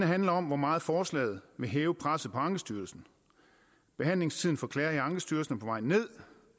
handler om hvor meget forslaget vil hæve presset på ankestyrelsen behandlingstiden for klager i ankestyrelsen er på vej ned